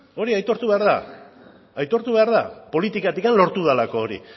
hori aitortu behar da aitortu behar da politikatik lortu delako hori